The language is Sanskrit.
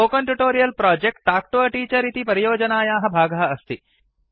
spoken tutorial project talk to a teacher इति परियोजनायाः भागः अस्ति